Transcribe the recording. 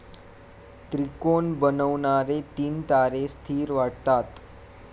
त्रिकोण बनवणारे तीन तारे स्थीर वाटतात.